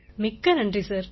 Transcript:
மிக்க நன்றி சார்